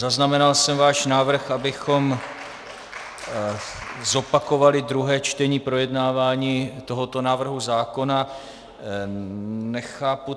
Zaznamenal jsem váš návrh, abychom zopakovali druhé čtení projednávání tohoto návrhu zákona.